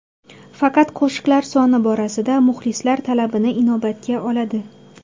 Faqat qo‘shiqlar soni borasida muxlislar talabini inobatga oladi.